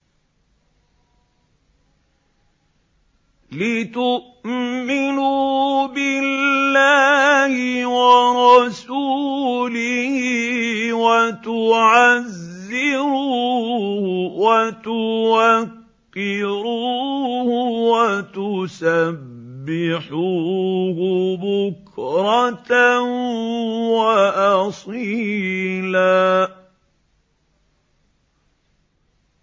لِّتُؤْمِنُوا بِاللَّهِ وَرَسُولِهِ وَتُعَزِّرُوهُ وَتُوَقِّرُوهُ وَتُسَبِّحُوهُ بُكْرَةً وَأَصِيلًا